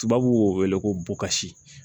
Tubabuw b'o wele ko bokasi